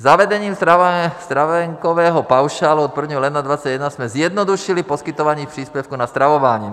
Zavedením stravenkového paušálu od 1. ledna 2021 jsme zjednodušili poskytování příspěvků na stravování.